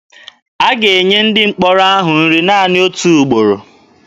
A ga-enye ndị mkpọrọ ahụ nri naanị otu ugboro.